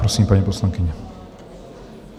Prosím, paní poslankyně.